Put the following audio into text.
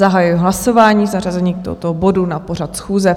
Zahajuji hlasování k zařazení tohoto bodu na pořad schůze.